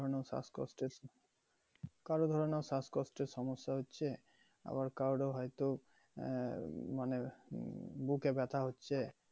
মানে শ্বাসকষ্টের, কারর ওখানে শ্বাসকষ্টের সমস্যা হচ্ছে আবার কারোর ও হয়তো আহ মানে উম বুকে বাথ্যা হচ্ছে